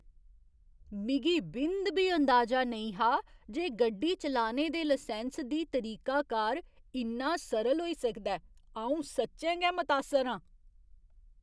मिगी बिंद बी अंदाजा नेईं हा जे गड्डी चलाने दे लसैंस दी तरीकाकार इन्ना सरल होई सकदा ऐ । अंऊ सच्चें गै मतासर आं ।